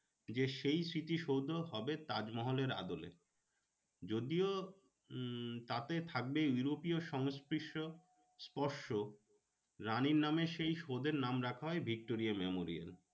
যে সেই স্মৃতিসৌধ হবে তাজমহলের আদলে। যদিও উম তাতে থাকবে ইউরোপিও সংস্পর্শ স্পর্শ রানীর নামে সেই সৌধের নাম রাখা হয় ভিক্টোরিয়া মেমোরিয়াল।